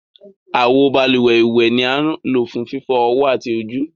Awo bálúwẹ̀ iwẹ ni a ń lo fun fifọ ọwọ ati ojú.